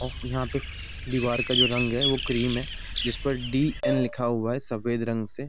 और फिर यहाँ पे दिवार का जो रंग है वो क्रीम है जिस पे डी.ऐन. लिखा हुआ है सफेद रंग से |